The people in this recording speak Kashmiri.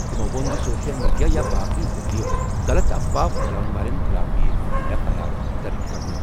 تٔمۍ ووٚن زِ سوشل میڈیا یا باقی ذٔریعہٕ غلط افواہ پھیلاون والٮ۪ن خٕلاف یِیہِ ایف آٮٔی آر درٕج کرنہٕ۔